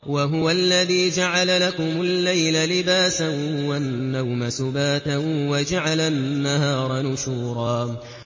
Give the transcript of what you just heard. وَهُوَ الَّذِي جَعَلَ لَكُمُ اللَّيْلَ لِبَاسًا وَالنَّوْمَ سُبَاتًا وَجَعَلَ النَّهَارَ نُشُورًا